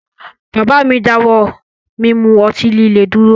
Bàbá mi dáwọ́ mí mú ọtí líle dúró